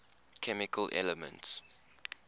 chemical elements